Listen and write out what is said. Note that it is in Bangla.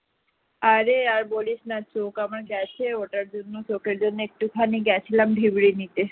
আরে আর বলিস না চোখ আমার গেছে ওটার জন্য চোখের জন্য একটুখানি গিয়েছিলাম ভিব্রি নিতে